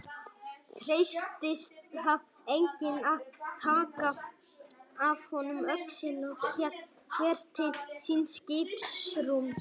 Treystist þá enginn að taka af honum öxina og hélt hver til síns skipsrúms.